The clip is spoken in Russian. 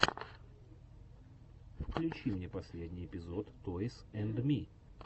включи мне последний эпизод тойс энд ми